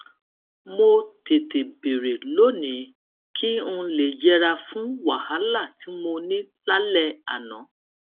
mo tètè bèrè lónìí kí n lè yẹra fún wàhálà tí mo ní lálé àná